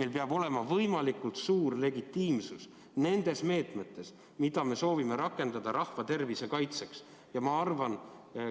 Meil peab olema võimalikult suur legitiimsus nendes meetmetes, mida me soovime rakendada rahva tervise kaitseks, ja ma arvan –